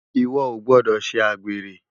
Iwò ó gbòdò sé ágbéré